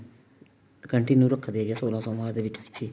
continue ਰੱਖਦੇ ਹਾਂ ਸੋਲਾਂ ਸੋਮਵਾਰ ਦੇ ਵਿੱਚ